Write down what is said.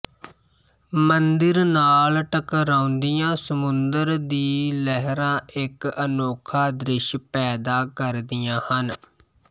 ਮੰਦਿਰ ਨਾਲ ਟਕਰਾਉਂਦੀਆਂ ਸਮੁੰਦਰ ਦੀ ਲਹਿਰਾਂ ਇੱਕ ਅਨੋਖਾ ਦ੍ਰਿਸ਼ ਪੈਦਾ ਕਰਦੀਆਂ ਹਨ